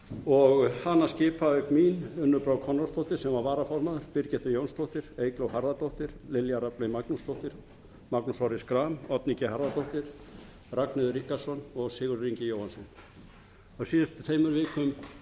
og hana skipa auk mín unnur brá konráðsdóttir sem var varaformaður birgitta jónsdóttir eygló harðardóttir lilja rafney magnúsdóttir magnús orri schram oddný g harðardóttir ragnheiður ríkharðsdóttir og sigurður ingi jóhannsson á síðustu tveimur vikum